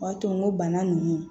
O b'a to n ko bana ninnu